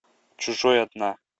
чужой одна